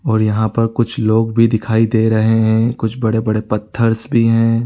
और यहाँ पर कुछ लोग भी दिखाई दे रहे है कुछ बड़े - बड़े पत्थरस भी है।